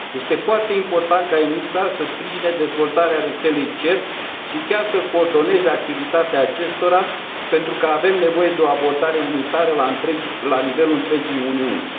Este foarte important ca ENISA să sprijine dezvoltarea rețelei CERT și chiar să coordoneze activitatea acesteia, pentru că avem nevoie de o abordare unitară la nivelul întregii Uniuni.